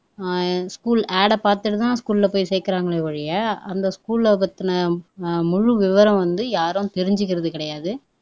அஹ் school ad ஐ பாத்துட்டு தான் ஸ்கூல்ல போய் சேர்க்குறாங்களே ஒழிய அந்த ஸ்கூல்லைப் பத்தின அஹ் முழு விவரம் வந்து யாரும் தெரிஞ்சிக்கிறது கிடையாது